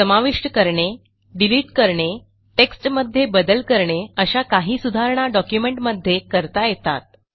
समाविष्ट करणे डिलिट करणे टेक्स्टमध्ये बदल करणे अशा काही सुधारणा डॉक्युमेंटमध्ये करता येतात